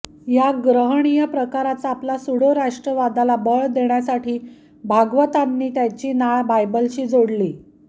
या गर्हणीय प्रकाराचा आपल्या स्यूडो राष्ट्रवादाला बळ देण्यासाठी भागवतांनी त्याची नाळ बायबलशी जोडली